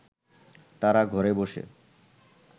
তারা ঘরে বসে